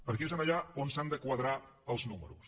perquè és allà on s’han de quadrar els números